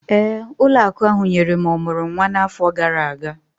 Ee, ụlọ akụ ahụ nyere m ọmụrụ nwa n'afọ gara aga